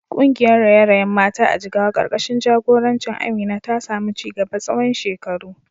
Kungiyar raye-rayen mata a Jigawa karkashin jagorancin Amina ta samu ci gaba tsawon shekaru.